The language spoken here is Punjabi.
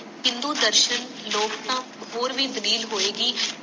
ਹਿੰਦੂ ਦਰਸ਼ਨ ਲੋਕ ਤਾਂ ਹੋਰ ਭੀ ਹੋਏਗੀ